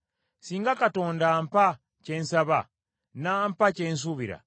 “Singa Katonda ampa kye nsaba, n’ampa kye nsuubira,